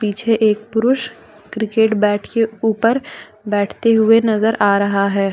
पीछे एक पुरुष क्रिकेट बैट के ऊपर बैठते हुए नजर आ रहा है।